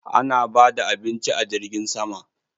Ana bada abinci a jirgin sama?